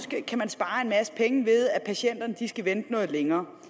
kan spare en masse penge ved at patienterne skal vente noget længere